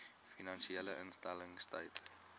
finansiële instellings stel